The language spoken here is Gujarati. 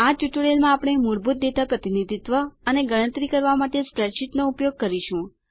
આ ટ્યુટોરીયલમાં આપણે મૂળભૂત ડેટા પ્રતિનિધિત્વ અને ગણતરી કરવા માટે સ્પ્રેડશીટ નો ઉપયોગ કરીશું